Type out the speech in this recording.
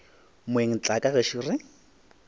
moeng tla ka gešo re